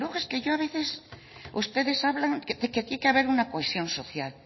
luego es que a veces ustedes hablan de que tiene que haber una cohesión social